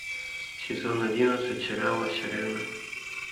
сезон одиннадцать сериала сирена